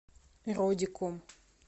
родиком